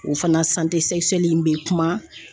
O fana in bɛ kuma